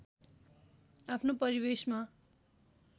आफ्नो परिवेशमा